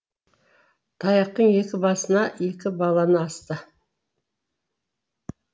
таяқтың екі басына екі баланы асты